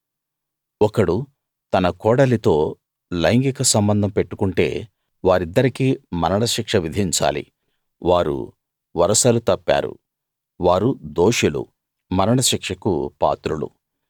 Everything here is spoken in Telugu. ఒకడు తన కోడలితో లైంగిక సంబంధం పెట్టుకుంటే వారిద్దరికీ మరణశిక్ష విధించాలి వారు వరసలు తప్పారు వారు దోషులు మరణ శిక్షకు పాత్రులు